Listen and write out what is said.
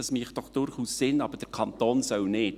Dies mache doch durchaus Sinn, aber der Kanton solle nicht.